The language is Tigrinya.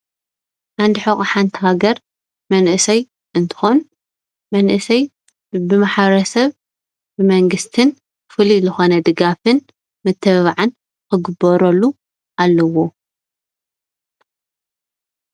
ዓንዲ ሑቀ ሓንቲ ሃገር መንእሰይ እንትኮን መንእሰይ ብማሕበረሰብ ብ መንግስትን ፍሉይ ዝኮነ ድጋፍን ምትብባዕን ክግበረሉ ኣለዎ ።